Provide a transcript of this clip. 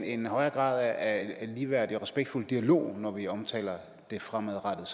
en højere grad af ligeværdig og respektfuld dialog når vi omtaler det fremadrettede